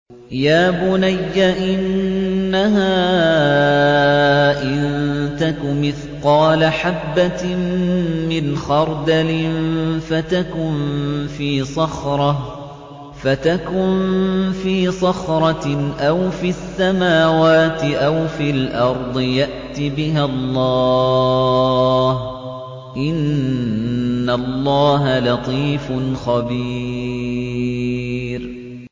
يَا بُنَيَّ إِنَّهَا إِن تَكُ مِثْقَالَ حَبَّةٍ مِّنْ خَرْدَلٍ فَتَكُن فِي صَخْرَةٍ أَوْ فِي السَّمَاوَاتِ أَوْ فِي الْأَرْضِ يَأْتِ بِهَا اللَّهُ ۚ إِنَّ اللَّهَ لَطِيفٌ خَبِيرٌ